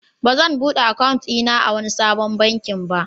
Ba zan buɗe akawun a wani sabon baki ba.